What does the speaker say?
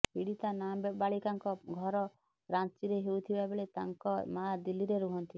ପୀଡ଼ତା ନାବାଳିକାଙ୍କ ଘର ରାଞ୍ଚିରେ ହୋଇଥିବା ବେଳେ ତାଙ୍କ ମା ଦିଲ୍ଲୀରେ ରୁହନ୍ତି